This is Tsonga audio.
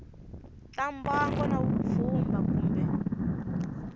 ta mbango na vupfhumba kumbe